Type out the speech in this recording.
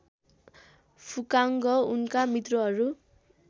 फुकाङ्ग उनका मित्रहरू